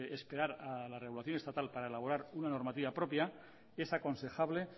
esperar a la regulación estatal para elaborar una normativa propia es aconsejable